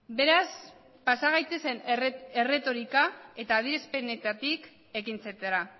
beraz pasa gaitezen erretorika eta adierazpenetatik ekintzetara